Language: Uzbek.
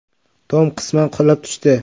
Tom qisman qulab tushdi.